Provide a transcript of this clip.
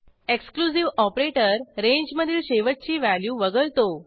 exclusive operator रेंजमधील शेवटची value वगळतो